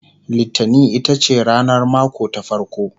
littani itace ranar mako ta farko